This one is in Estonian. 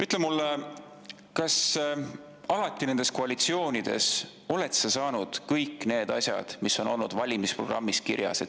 Ütle mulle, kas sa oled nendes koalitsioonides alati saanud kõik need asjad, mis on olnud valimisprogrammis kirjas.